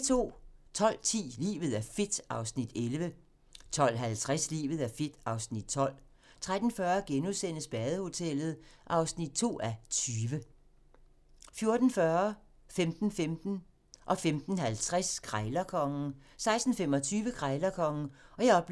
12:10: Livet er fedt (Afs. 11) 12:50: Livet er fedt (Afs. 12) 13:40: Badehotellet (2:20)* 14:40: Krejlerkongen 15:15: Krejlerkongen 15:50: Krejlerkongen 16:25: Krejlerkongen (Afs.